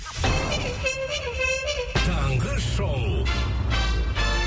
таңғы шоу